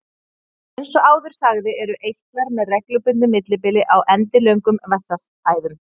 Eins og áður sagði eru eitlar með reglulegu millibili á endilöngum vessaæðum.